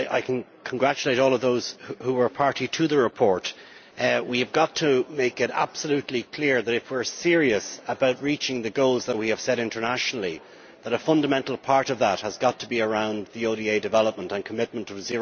I congratulate all of those who were party to the report. We have got to make it absolutely clear that, if we are serious about reaching the goals that we have set internationally, then a fundamental part of that has got to be around ODA development and the commitment of